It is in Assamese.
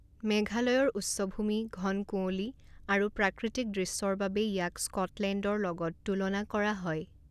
মেঘালয়ৰ উচ্চভূমি, ঘন কুঁৱলী আৰু প্ৰাকৃতিক দৃশ্যৰ বাবে ইয়াক স্কটলেণ্ডৰ লগত তুলনা কৰা হয়।